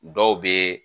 Dɔw bɛ